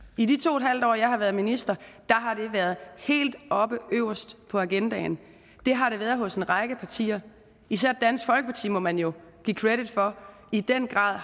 i de to en halv år jeg har været minister har det været helt oppe øverst på agendaen det har det været hos en række partier især dansk folkeparti må man jo give credit for i den grad